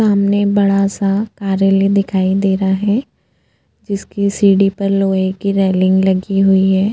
सामने बड़ा-सा कार्यालयी दिखाई दे रहा है जिसकी सीढ़ी पर लोहे की रेलिंग लगी हुई है।